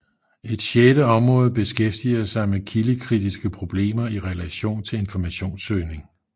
Et sjette område beskæftiger sig med kildekritiske problemer i relation til informationssøgning